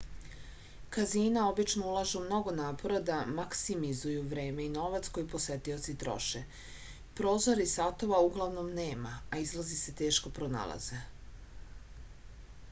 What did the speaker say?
kazina obično ulažu mnogo napora da maksimizuju vreme i novac koje posetioci troše prozora i satova uglavnom nema a izlazi se teško pronalaze